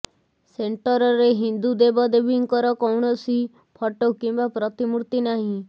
ସେଣ୍ଟରରେ ହିନ୍ଦୁ ଦେବ ଦେବୀଙ୍କର କୌଣସି ଫଟୋ କିମ୍ବା ପ୍ରତିମୂର୍ତ୍ତି ନାହିଁ